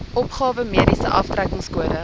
opgawe mediese aftrekkingskode